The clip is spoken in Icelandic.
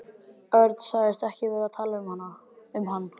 Örn sagðist ekki vera að tala um hann.